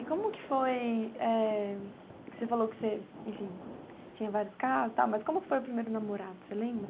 como que foi, eh, que você falou que você, enfim, tinha vários casos e tal, mas como que foi o primeiro namorado, você lembra?